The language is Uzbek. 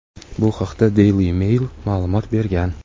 Bu haqda "Daily Mail" ma’lumot bergan.